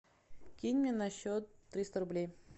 кинь мне на счет триста рублей